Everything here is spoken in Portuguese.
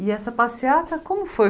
E essa passeata, como foi?